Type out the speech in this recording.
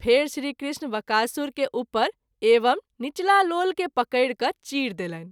फेरि श्री कृष्ण वकासुर के उपर एवं नीचला लोल के पकरि क’ चीर देलनि।